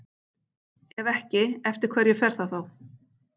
Ef ekki, eftir hverju fer það þá?